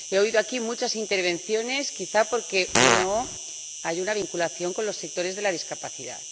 He oído aquí muchas intervenciones, quizá porque no hay una vinculación con los sectores de la discapacidad.